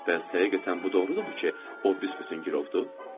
Bəs həqiqətən bu doğrudurmu ki, o büsbütün gürovdur?